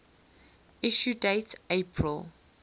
issue date april